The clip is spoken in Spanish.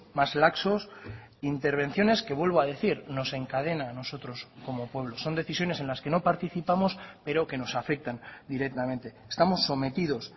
más laxos intervenciones que vuelvo a decir nos encadena a nosotros como pueblo son decisiones en las que no participamos pero que nos afectan directamente estamos sometidos